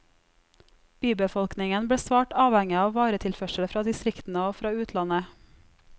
Bybefolkningen ble svært avhengige av varetilførsel fra distriktene og fra utlandet.